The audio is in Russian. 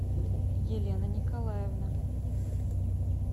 елена николаевна